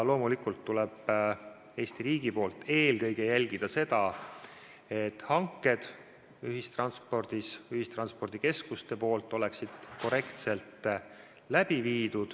Loomulikult tuleb Eesti riigil eelkõige jälgida, et ühistranspordikeskused viiksid hanked korrektselt läbi.